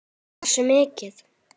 Hversu mikið?